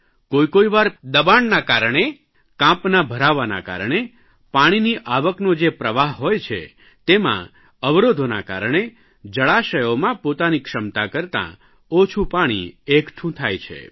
કોઇકોઇ વાર દબાણના કારણે કાંપના ભરાવાના કારણે પાણીની આવકનો જે પ્રવાહ હોય છે તેમાં અવરોધોના કારણે જળાશયોમાં પોતાની ક્ષમતા કરતાં ઓછું પાણી એકઠું થાય છે